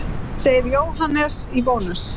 Segir Jóhannes í Bónus.